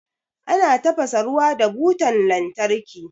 Ana tafasa ruwa da butan lantarki.